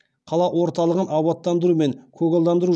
қала орталығын абаттандыру мен көгалдандыру